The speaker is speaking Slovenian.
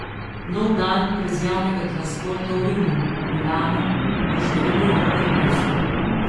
Nov dan brez javnega transporta v Rimu, Milanu in številnih drugih mestih.